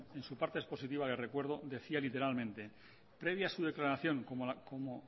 en su parte expositiva le recuerdo decía literalmente previa su declaración como